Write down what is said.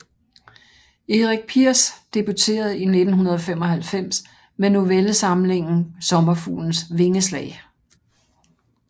Erik Piers debuterede i 1995 med novellesamlingen Sommerfuglens vingeslag